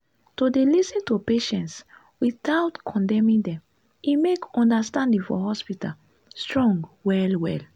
to dey lis ten to patients without condemning dem e make understanding for hospital strong well well.